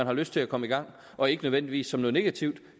har lyst til at komme i gang og ikke nødvendigvis som noget negativt